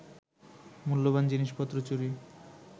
মূল্যবান জিনিসপত্র চুরি